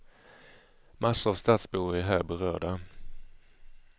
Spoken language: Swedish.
Massor av stadsbor är här berörda.